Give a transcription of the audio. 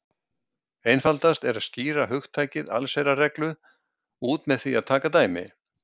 Einfaldast er að skýra hugtakið allsherjarreglu út með því að taka dæmi.